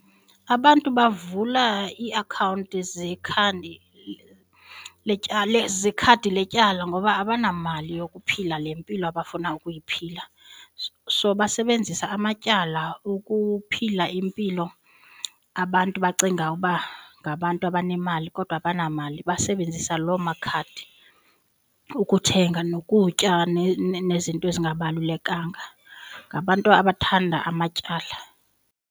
Abantu bavula iiakhawunti zekhandi letyala ikhadi letyala ngoba abanamali yokuphila le mpilo abafuna ukuyiphila. So basebenzisa amatyala ukuphila impilo abantu bacinga uba ngabantu abanemali kodwa abanamali basebenzisa loo makhadi ukuthenga nokutya nezinto ezingabalulekanga. Ngabantu abathanda amatyala.